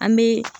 An bɛ